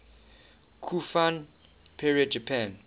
kofun period japan